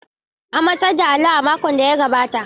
An matsar da allon a makon da ya gabata.